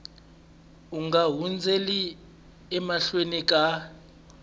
u nga hundzeli emahlweni ka